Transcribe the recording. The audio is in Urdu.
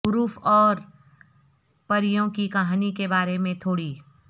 حروف اور پریوں کی کہانی کے بارے میں تھوڑی